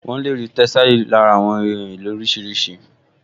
Wọ́n lè rí tẹ́sàlí lára àwọn ohun èlò oríṣiríṣi